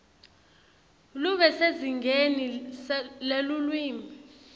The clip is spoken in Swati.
lube sezingeni lelulwimi